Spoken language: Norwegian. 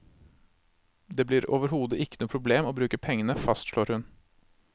Det blir overhodet ikke noe problem å bruke pengene, fastslår hun.